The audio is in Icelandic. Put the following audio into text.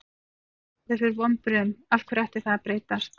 Við höfum svo oft orðið fyrir vonbrigðum, af hverju ætti það að breytast?